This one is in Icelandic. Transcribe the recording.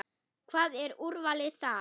Hvað, er úrvalið þar?